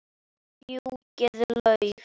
Fjúkiði lauf.